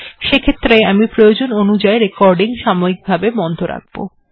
সেক্ষেত্রে আমি প্রয়োজন অনুযাই রেকর্ডিং সাময়িক ভাবে বন্ধ রাখব